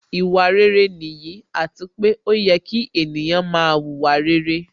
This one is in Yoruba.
Ìwà rere nìyí, àti pé ó yẹ kí ènìyàn máa wùwà rere